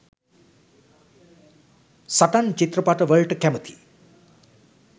සටන් චිත්‍රපට වලට කැමති